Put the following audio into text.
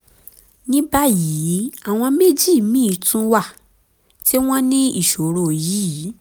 ní báyìí àwọn méjì míì tún wà tí wọ́n ní ìṣòro yìí